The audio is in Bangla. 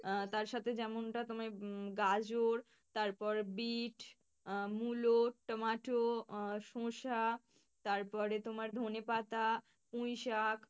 আহ তার সাথে যেমনটা তোমার উম গাজর, তারপর বিট আহ মূলো, টমেটো আহ শসা তারপরে তোমার ধনেপাতা, পুইশাক।